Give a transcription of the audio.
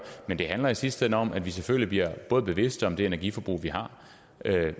men det handler i sidste ende om at vi selvfølgelig bliver både bevidste om det energiforbrug vi har